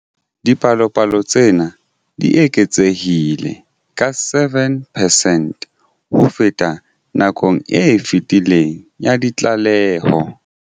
Dipalopalo tsena di eketsehile ka 7 percent ho feta nakong e fetileng ya ditlaleho.